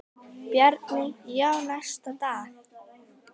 Bjarni: Já, næsta dag.